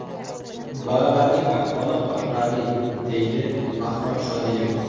Bolalarning ahvoli qoniqarli”, deydi Bahrom Shodiyev.